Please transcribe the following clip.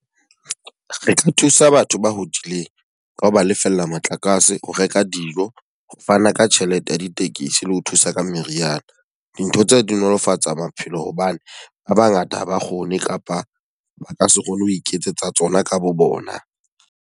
Re ka thusa batho ba hodileng ka ho ba lefella motlakase, ho reka dijo, ho fana ka tjhelete ya ditekesi le ho thusa ka meriana. Dintho tsa di nolofatsa maphelo hobane ba ba ngata ha ba kgone kapa ba ka se kgone ho iketsetsa tsona ka bo bona.